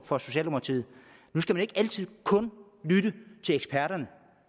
for socialdemokratiet man skal ikke altid kun lytte til eksperterne